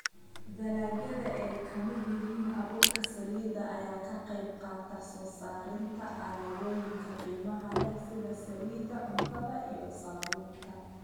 Dalagyada ay ka midka yihiin abuurka saliidda ayaa ka qayb qaata soo saarista alaabooyinka qiimaha leh sida saliidda cuntada iyo saabuunta.